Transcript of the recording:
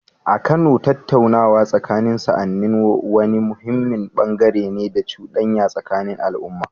A Kano, tattaunawa tsakanin sa'anni wani muhimmin bangare ne na cudanya tsakanin al’umma.